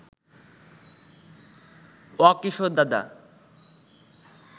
অ কিশোর দাদা